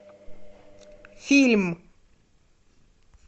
фильм